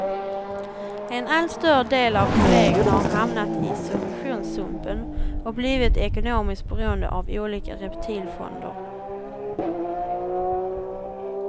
En allt större del av kollegerna har hamnat i subventionssumpen och blivit ekonomiskt beroende av olika reptilfonder.